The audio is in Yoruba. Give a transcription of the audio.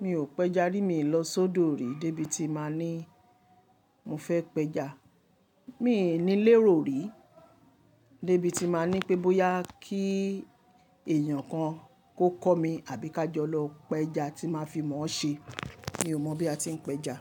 Mi ò péja rí, mi lọ sódo rí débi tí máa ní mo fẹ́ péja. Mi ni léèró rí débi tí n máa ní pé bóyá kí èèyàn kan kó kọ́ mi àbí ká jọ lọ péja tí máa fi mọ̀ ọ́ se. Mi ò mọ̀ bí a ti ń péja.